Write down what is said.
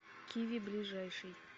киви ближайший